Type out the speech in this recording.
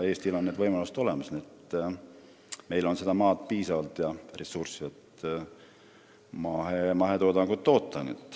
Eestil on võimalused olemas: meil on piisavalt maad ja ressurssi, et mahetoodangut toota.